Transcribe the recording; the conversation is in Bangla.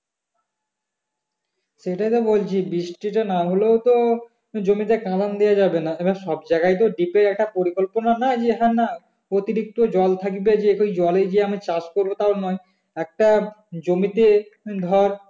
সেটাই তো বলছি বৃষ্টিটা না হলেও তো জমিতে কাঁদান দেওয়া যাবে না এবার সব জায়গায় তো . একটা পরিকল্পনা নাই যে না হ্যাঁ অতিরিক্ত জল থাকবে যে ওই জলেই যে আমি চাষ করবো তও নয় একটা জমিতে ধর